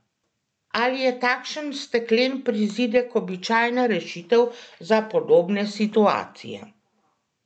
Ali je takšen steklen prizidek običajna rešitev za podobne situacije?